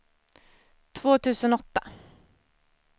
två tusen åtta